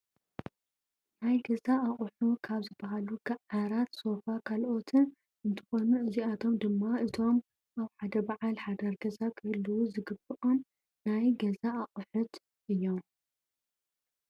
ናይ ገዛ ኣቁሑት ካብዝበሃሉ ጋራት ሶፋ ካልኦትን አንትኮኑ እዚኣቶም ድማ እቶም ኣብ ሓደ በዓል ሓዳር ገዛ ክህልው ዝግበኦም ናይ ገዛ ኣቁሑት እዮም ።